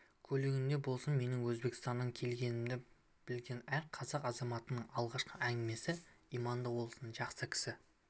көлігінде болсын менің өзбекстаннан келгенімді білген әр қазақ азаматының алғашқы әңгімесі иманды болсын жақсы кісі